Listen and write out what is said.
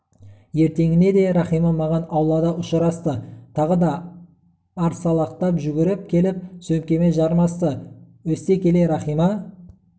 ертеңіне де рахима маған аулада ұшырасты тағы да арсалақтап жүгіріп келіп сөмкеме жармасты өсте келе рахима